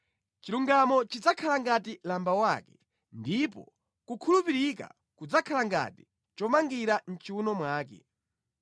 Chilungamo chidzakhala ngati lamba wake ndipo kukhulupirika kudzakhala ngati chomangira mʼchiwuno mwake.